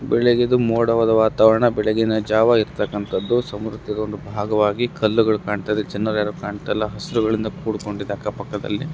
ಬೆಳಗಿನ ಮೋಡವಾದ ವಾತಾವರಣ ಬೆಳಗಿನ ಜಾವ ಇರತಕ್ಕಂತದ್ದು ಸಮುದ್ರದ ಒಂದು ಭಾಗವಾಗಿ ಕಲ್ಲುಗಳು ಕಾಣತಾಯಿವೆ ಜನರು ಯಾರು ಕಾಣತಾಯಿಲ್ಲ ಹೆಸರು ಗಳಿಂದ ಕುಕೊಂಡಿದೆ ಅಕ್ಕಪಕ್ಕದಲ್ಲಿ .